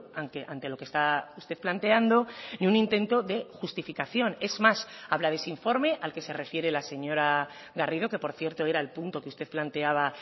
aunque ante lo que está usted planteando ni un intento de justificación es más habla de ese informe al que se refiere la señora garrido que por cierto era el punto que usted planteaba